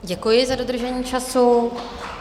Děkuji za dodržení času.